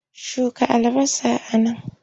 Shuka albasa a nan!